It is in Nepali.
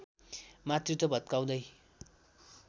मातृत्व भत्काउँदै